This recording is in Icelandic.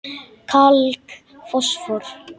Kalk Fosfór